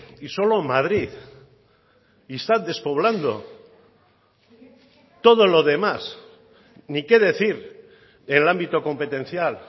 y solo madrid y está despoblando todo lo demás ni qué decir en el ámbito competencial